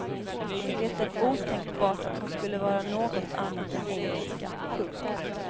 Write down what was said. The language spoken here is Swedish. Det är otänkbart att hon skulle vara något annat än engelska. punkt